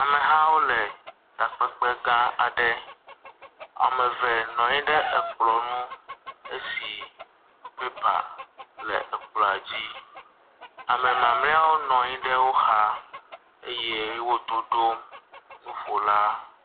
Amehawo le takpekpe gã aɖe. Ame eve nɔ anyi ɖe kplɔ̃ ŋu esi pepa le kplɔ̃a dzi. Ame mamlɛawo nɔ anyi ɖe wo xa eye wo toɖom nuƒola.